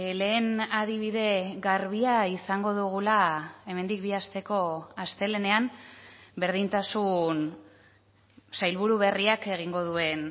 lehen adibide garbia izango dugula hemendik bi asteko astelehenean berdintasun sailburu berriak egingo duen